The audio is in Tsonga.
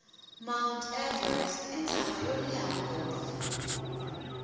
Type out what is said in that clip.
mount everest intsava yolehha ngopfu